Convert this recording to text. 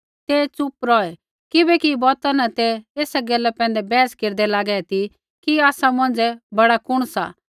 ते च़ुप रौहे किबैकि बौता न तै ऐसा गैला पैंधै बैहस केरदै लागे ती कि आसा मौंझ़ै बड़ा कुण सा